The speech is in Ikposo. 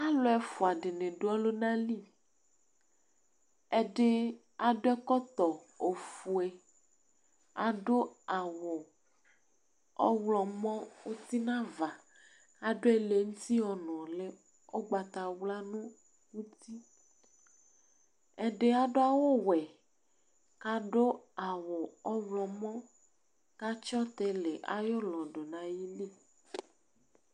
ɑlụɛfụɑɗi ɗụ ɔlụɲɑli ɛɗi ɑɗụɛtóto õfụɛ ɑɗụ ɑwũ ɔhlomɔ ũtiɲɑvạ ɑɗụ ẽlɛṅụti ɔɲụli ũkpɑtɑwlɑ ɛɗi ɑɗụɑwũwẽ kɑɗụ ɑwũ ɔhlomɔ kɑtsiotili ɑyụlɔɗụɲɑ ƴili